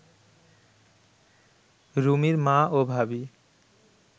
রুমির মা ও ভাবী